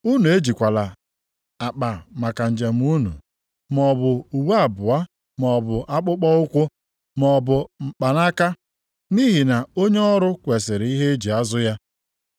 Unu ejikwala akpa maka njem unu, maọbụ uwe abụọ, maọbụ akpụkpọụkwụ, maọbụ mkpanaka. Nʼihi na onye ọrụ kwesiri ihe e ji azụ ya.